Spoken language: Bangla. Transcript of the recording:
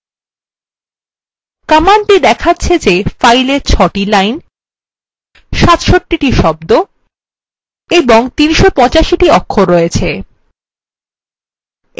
command দেখাচ্ছে the fileএ ৬the lines ৬৭the শব্দ এবং ৩৮৫the অক্ষর আছে